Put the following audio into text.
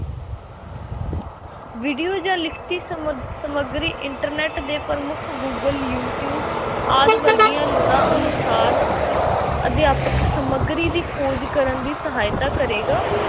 video ਜਾਂ ਲਿਖਤੀ ਸਮ~ ਸਮਗਰੀ internet ਦੇ ਪ੍ਰਮੁੱਖ ਗੂਗਲ, ਯੂਟਿਊਬ ਆਦਿ ਵਰਗੀਆਂ ਲੋੜ੍ਹਾਂ ਅਨੁਸਾਰ ਅਧਿਆਪਕ ਸਮੱਗਰੀ ਦੀ ਖੋਜ ਕਰਨ ਦੀ ਸਹਾਇਤਾ ਕਰੇਗਾ।